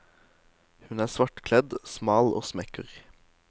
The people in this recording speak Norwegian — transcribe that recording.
Hun er svartkledd, smal og smekker.